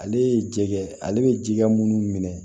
Ale ye jɛgɛ ale bɛ jɛgɛ minnu minɛ